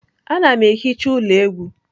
Ana m ehicha ụlọ egwu.